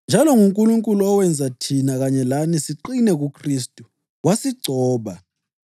Njalo nguNkulunkulu owenza thina kanye lani siqine kuKhristu. Wasigcoba,